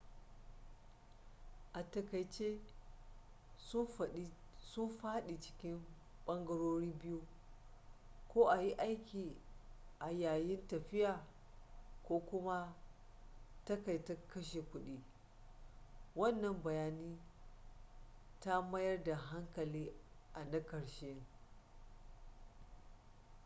a takaice sun faɗi cikin ɓangarori biyu ko a yi aiki a yayin tafiya ko kuma takaita kashe kuɗi wannan bayani ta mayar da hankali a na ƙarshen